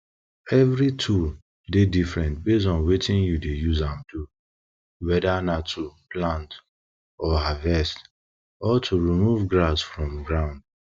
evry tools dey different base on wetin you dey use am do weda na to plant oh harvest or to remove grass from ground